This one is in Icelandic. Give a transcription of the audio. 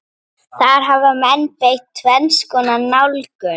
Þar hafa menn beitt tvenns konar nálgun.